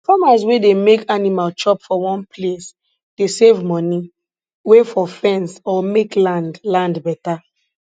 farmers wey dey make animal chop for one place dey save money wey for fence or make land land better